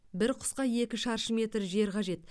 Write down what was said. бір құсқа екі шаршы метр жер қажет